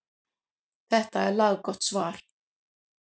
Þetta er laggott svar.